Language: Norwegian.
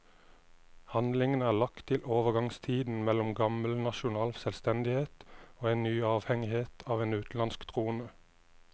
Handlingen er lagt til overgangstiden mellom gammel nasjonal selvstendighet og en ny avhengighet av en utenlandsk trone.